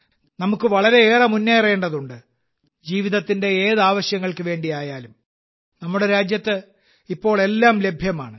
നമുക്ക് വളരെയേറെ മുന്നേറേണ്ടതുണ്ട് ജീവിതത്തിന്റെ ഏത് ആവശ്യങ്ങൾക്കു വേണ്ടിയായാലും നമ്മുടെ രാജ്യത്ത് ഇപ്പോൾ എല്ലാം ലഭ്യമാണ്